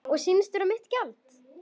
Og sýnist vera mitt gjald.